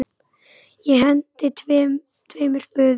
Ég henti tveimur spöðum.